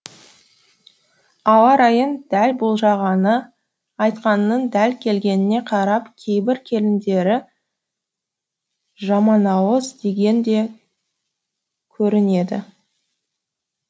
ауа райын дәл болжағаны айтқанының дәл келгеніне қарап кейбір келіндері жаманауыз деген де көрінеді